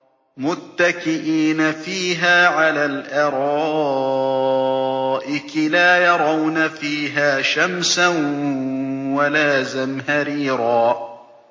مُّتَّكِئِينَ فِيهَا عَلَى الْأَرَائِكِ ۖ لَا يَرَوْنَ فِيهَا شَمْسًا وَلَا زَمْهَرِيرًا